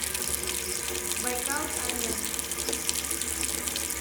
байкал арена